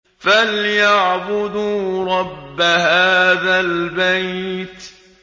فَلْيَعْبُدُوا رَبَّ هَٰذَا الْبَيْتِ